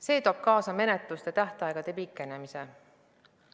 See toob kaasa menetluste tähtaegade pikenemise.